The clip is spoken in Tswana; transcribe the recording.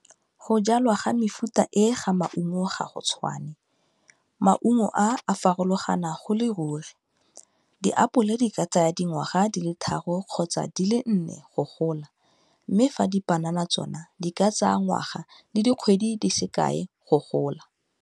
Go jalwa ga mefuta e ga maungo ga go tshwane, maungo a farologana go le ruri, diapole di ka tsaya dingwaga di le tharo kgotsa di le nne go gola, mme fa dipanana tsona di ka tsaya ngwaga le dikgwedi di se kae go gola.